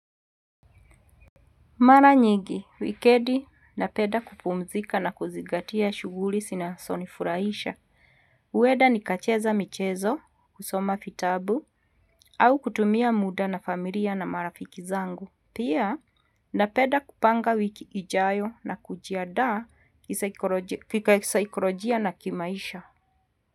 Mara nyingi, wikendi napenda kupumzika na kuzigatia shuguli zinazonifurahisha. Huenda nikacheza michezo, kusoma vitabu, au kutumia muda na familia na marafiki zangu. Pia na penda kupanga wiki ijayo na kujiandaa kisaikolojia kika kisaikolojia na kimaisha.